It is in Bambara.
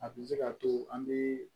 A bi se k'a to an bi